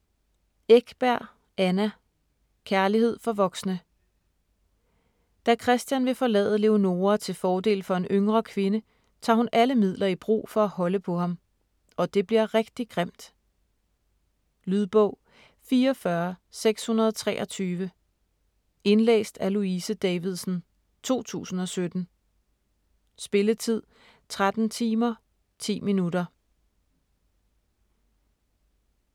Ekberg, Anna: Kærlighed for voksne Da Christian vil forlade Leonora til fordel for en yngre kvinde, tager hun alle midler i brug for at holde på ham. Og det bliver rigtig grimt. Lydbog 44623 Indlæst af Louise Davidsen, 2017. Spilletid: 13 timer, 10 minutter.